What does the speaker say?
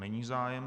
Není zájem.